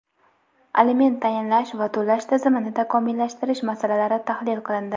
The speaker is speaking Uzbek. aliment tayinlash va to‘lash tizimini takomillashtirish masalalari tahlil qilindi.